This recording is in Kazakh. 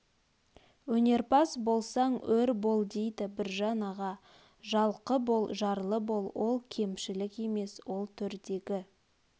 өнерпаз болсаң өр бол дейді біржан аға жалқы бол жарлы бол ол кемшілік емес ол төрдегі